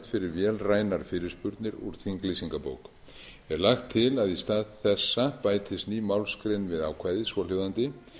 fyrir vélrænar fyrirspurnir úr þinglýsingabók er lagt til að í stað þessa bætist ný málsgrein við ákvæðið svohljóðandi